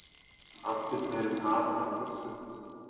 Afturförin hafin af fullum þunga.